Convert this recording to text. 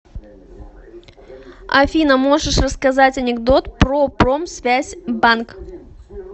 афина можешь рассказать анекдот про промсвязьбанк